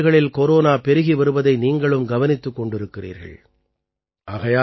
உலகின் பல நாடுகளில் கொரோனா பெருகி வருவதை நீங்களும் கவனித்துக் கொண்டிருக்கிறீர்கள்